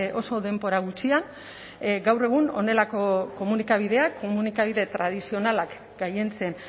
oso denbora gutxian gaur egun honelako komunikabideak komunikabide tradizionalak gailentzen